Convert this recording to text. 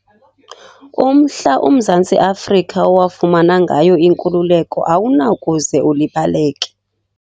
Umhla uMzantsi Afrika owafumana ngayo inkululeko awunakuze ulibaleke.